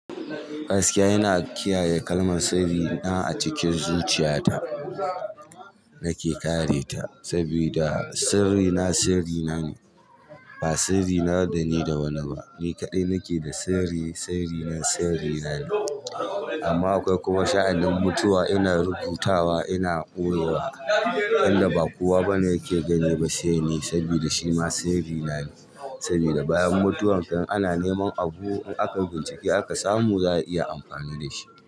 Gaskiya ina kiyaye kalmar sirri na a cikin zuciya ta nake kare ta saboda sirri na sirri na ne ba sirri na da ni da wani ba ni kaɗai nake da sirri sirri na sirri na ne amma akwai kuma sha'anin mutuwa ina rubutawa ina ɓoyewa inda ba kowa bane yake gani saboda shima sirri na ne saboda bayan mutuwa in ana neman abu in akai bincike aka samu za a iya amfani da shi.